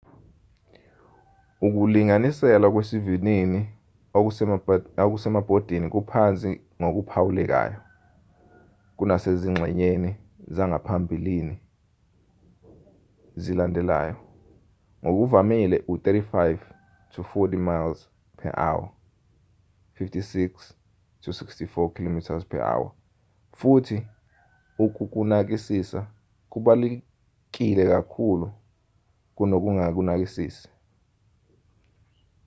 ukulinganiselwa kwesivinini okusemabhodini kuphansi ngokuphawulekayo kunasezingxenyeni zangaphambili nezilandelayo — ngokuvamile u-35-40 mph 56-64 km/h — futhi ukukunakisisa kubalulekile nakakhulu kunokungakunakisisi